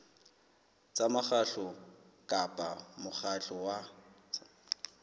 tsa mokgatlo kapa mokgatlo wa